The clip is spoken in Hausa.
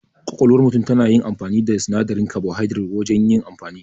Ƙwaƙwalwa tana amfani da sinadarin kabuhaidirat wajan yin amfani